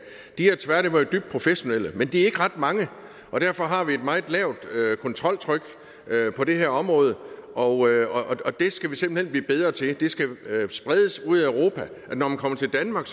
de er tværtimod dybt professionelle men de er ikke ret mange og derfor har vi et meget lavt kontroltryk på det her område og det skal vi simpelt hen blive bedre til det skal spredes ude i europa at når man kommer til danmark